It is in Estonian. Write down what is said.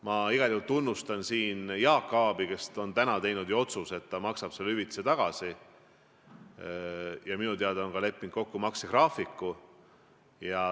Ma igal juhul tunnustan siin Jaak Aabi, kes on nüüd teinud ju otsuse, et ta maksab selle hüvitise tagasi, ja minu teada on leppinud kokku ka maksegraafiku.